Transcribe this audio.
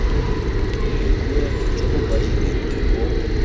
boikuelo jo bo kwadilweng bo